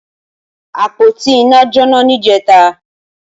Apótí iná jónà nijẹ̀tá